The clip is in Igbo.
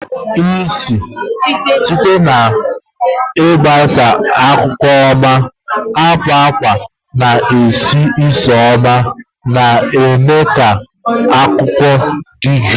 Site na ịgbasa alụlụ oma, akwa akwa na-esi ísì oma, na-eme ka ikuku dị jụụ.